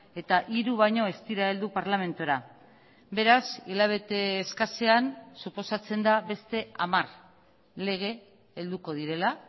eta hiru baino ez dira heldu parlamentura beraz hilabete eskasean suposatzen da beste hamar lege helduko direla